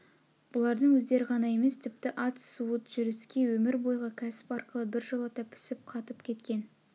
бұлардың өздері ғана емес тіпті ат суыт жүрске өмір бойғы кәсіп арқылы біржолата пісіп қатып кеткен